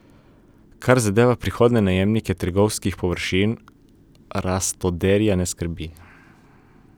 Kar zadeva prihodnje najemnike trgovskih površin, Rastoderja ne skrbi.